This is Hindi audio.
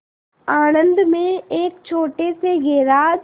आणंद में एक छोटे से गैराज